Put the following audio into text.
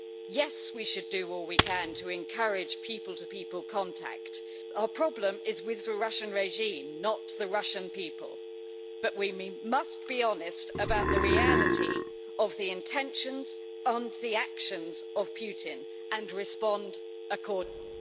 Yes, we should do all we can to encourage people-to-people contact our problem is with the Russian regime, not the Russian people, but we must be honest about the reality of the intentions and the actions of Putin and respond accordingly.